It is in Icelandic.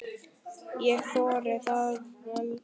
Ég þori varla.